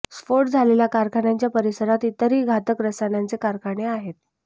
स्फोट झालेल्या कारखान्याच्या परिसरात इतरही घातक रसायनांचे कारखाने आहेत